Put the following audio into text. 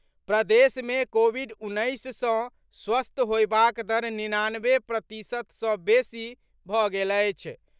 प्रदेश मे कोविड उन्नैस सँ स्वस्थ होयबाक दर निनानबे प्रतिशत सँ बेसी भऽ गेल अछि।